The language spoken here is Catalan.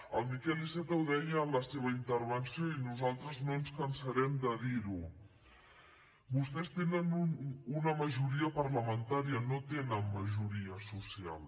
el miquel iceta ho deia en la seva intervenció i nosaltres no ens cansarem de dirho vostès tenen una majoria parlamentària no tenen majoria social